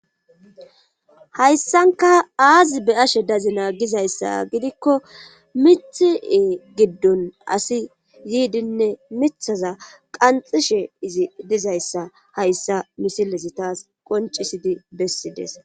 Hayssanka aazi be ashe dazina gizayssa gidikko mithi7ee giddon asi yiidinne mithaza qanxishe izi dizayssa hayssa misilezi taas qoncisidi bessides.